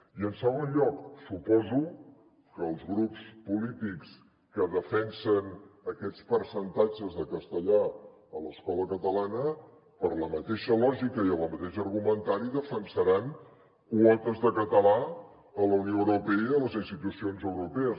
i en segon lloc suposo que els grups polítics que defensen aquests percentatges de castellà a l’escola catalana per la mateixa lògica i amb el mateix argumentari defensaran quotes de català a la unió europea i a les institucions europees